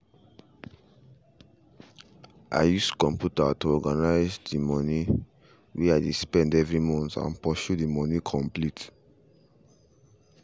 i use computer to organize all the money way i dey spend every month and pursue the money complete